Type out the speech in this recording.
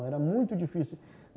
Era muito difícil.